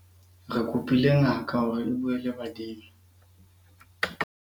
re kopile ngaka hore e bue le badimo